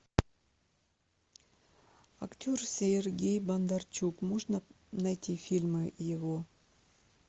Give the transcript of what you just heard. актер сергей бондарчук можно найти фильмы его